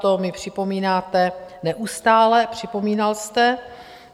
To mi připomínáte neustále, připomínal jste.